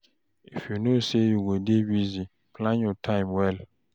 If you know sey you go dey busy, plan your time well.